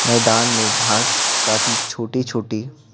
मैदान में घास काफी छोटी-छोटी--